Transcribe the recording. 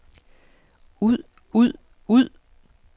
ud ud ud